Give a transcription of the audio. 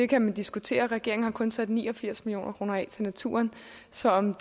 kan man diskutere regeringen har kun sat ni og firs million kroner af til naturen så om